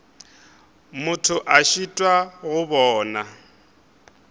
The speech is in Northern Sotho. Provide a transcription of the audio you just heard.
motho a šitwa go bona